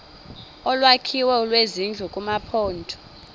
olwakhiwo lwezindlu kumaphondo